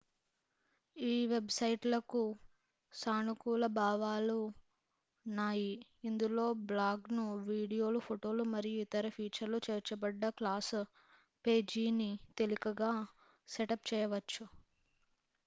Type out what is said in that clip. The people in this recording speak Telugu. ఈ వెబ్ సైట్ లకు సానుకూల భావనలు న్నాయి ఇందులో బ్లాగ్ లు వీడియోలు ఫోటోలు మరియు ఇతర ఫీచర్లు చేర్చబడ్డ క్లాస్ పేజీని తేలికగా సెటప్ చేయవచ్చు